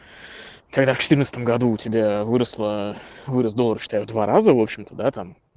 когда в четырнадцатом году у тебя выросла вырос доллар считай в два раза в общем-то да там